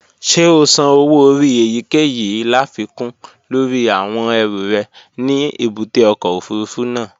Ṣé o san owó orí èyíkèyìí láfikún lórí àwọn ẹrù rẹ ní èbúté ọkọ̀ òfurufú náà?